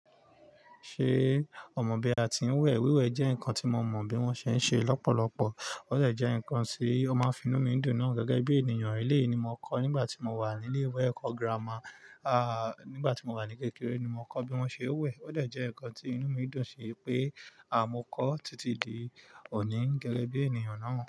Ṣé ọ̀ mọ̀ bi àti n wẹ́? Wiwe jẹ́ nǹkan tí mo mọ̀ bí wọ́n ṣe ń ṣe lọ́pọ̀lọpọ̀. Ó dẹ̀ jẹ́ ǹkan tí ó máa ń finú mi dùn náà gẹ́gẹ́ bí ènìyàn. Eleyi ni mo kọ́ nígbà tí mo wà ní ilé-ìwé ẹ̀kọ́ gírámà, à nígbà tí mo wà ní kékeré ni mo kọ́ bí wọ́n ṣe ń we. Ó dẹ̀ jẹ́ ǹkan tí inú mi dùn sí pé à mo kọ́ títí di òní gẹ́gẹ́ bí ènìyàn náà.